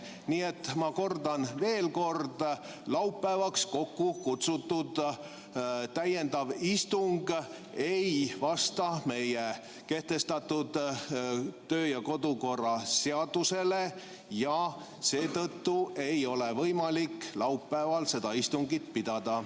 Nii et ma kordan veel: laupäevaks kokku kutsutud täiendav istung ei vasta meie kehtestatud kodu- ja töökorra seadusele ja seetõttu ei ole võimalik laupäeval seda istungit pidada.